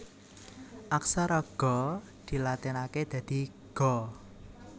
Aksara Ga dilatinaké dadi Ga